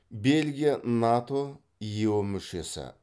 белгия нато ео мүшесі